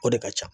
O de ka ca